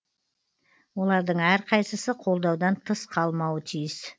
олардың әрқайсысы қолдаудан тыс қалмауы тиіс